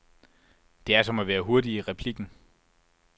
Det er, som at være hurtig i replikken.